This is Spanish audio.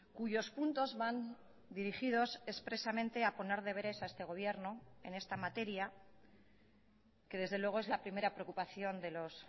cuyos puntos van dirigidos expresamente a poner deberes a este gobierno en esta materia que desde luego es la primera preocupación de los